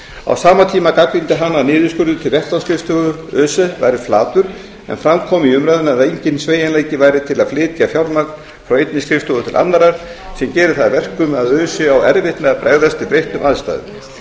á sama tíma gagnrýndi hann að niðurskurður til vettvangsskrifstofa öse væri flatur en fram kom í umræðunni að enginn sveigjanleiki væri til að flytja fjármagn frá einni skrifstofu til annarrar sem gerir það að verkum að öse á erfitt með að bregðast við breyttum aðstæðum